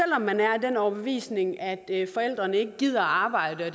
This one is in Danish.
man er af den overbevisning at forældrene ikke gider at arbejde og